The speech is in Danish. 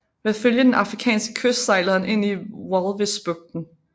Ved at følge den afrikanske kyst sejlede han ind i Walvisbugten